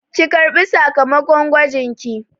Ki ƙarɓi sakamakon gwajinki!